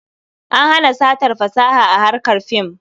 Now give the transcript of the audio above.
An hana satar fasaha a harkar fim.